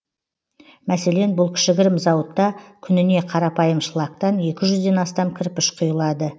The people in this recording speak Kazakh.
мәселен бұл кішігірім зауытта күніне қарапайым шлактан екі жүзден астам кірпіш құйылады